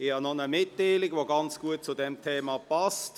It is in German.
Ich habe noch eine Mitteilung, die ganz gut zu diesem Thema passt.